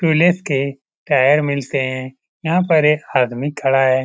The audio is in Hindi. टीयूलेस के तार मिलते हैं यहां पर एक आदमी खड़ा है।